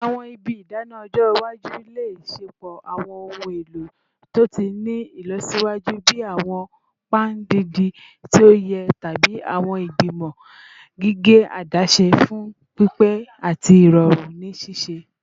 Awọn ibi idana ọjọ iwaju le ṣepọ awọn ohun elo to ti ni ilọsiwaju bii awọn pan didin ti oye tabi awọn igbimọ gige adaṣe fun pipe ati irọrun ni sise